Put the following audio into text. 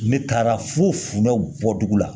Ne taara fo fundɛw bɔ dugu la